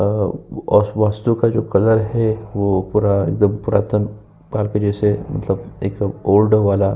अ वस्तु का जो कलर है। वो पूरा वह पुरातन मतलब एक ओल्ड वाला --